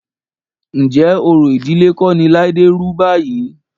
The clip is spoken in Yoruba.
Ǹjẹ́ orò ìdílé kọ́ ni Láídé rú báyìí?